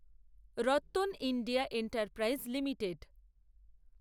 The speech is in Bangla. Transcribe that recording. Rattan India enterprise limited